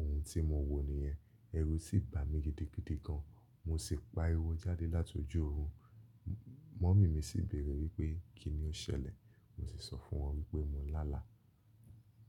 ohun tí mo wò nìyẹn. Ẹrù sì bá mi gidigidi gan. Mo sì pa ariwọ́ jáde látọjú òrun. Mummy mi sì béèrè wípé kí ni ó ṣẹlẹ̀? Mo sì sọ fún wọn wípé mo lá àlá.